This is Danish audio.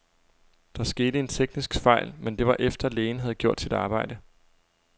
Der skete en teknisk fejl, men det var efter, lægen havde gjort sit arbejde.